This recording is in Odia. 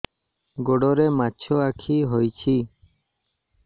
ଗୋଡ଼ରେ ମାଛଆଖି ହୋଇଛି